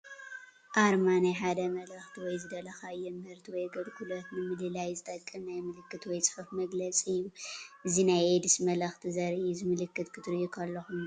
ኣርማ ናይ ሓደ መልእኽቲ ወይ ዝደለኻዮ ምህርቲ ወይ ኣግልግሎት ንምልላይ ዝጠቅም ናይ ምልክት ወይ ፅሑፍ መግለፂ እዩ፡፡ እዚ ናይ ኤድስ መልኽቲ ዘርኢ እዩ፡፡ እዚ ምልክት ክትሪኡ ከለኹም እንታይ ትዝክሩ?